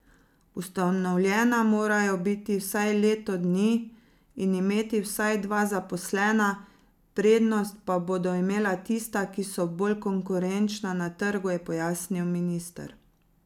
Ustanovljena morajo biti vsaj leto dni in imeti vsaj dva zaposlena, prednost pa bodo imela tista, ki so bolj konkurenčna na trgu, je pojasnil minister.